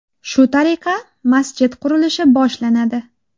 Shu tariqa, masjid qurilishi boshlanadi.